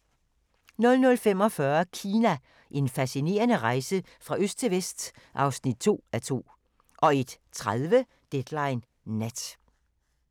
00:45: Kina – En fascinerende rejse fra øst til vest (2:2) 01:30: Deadline Nat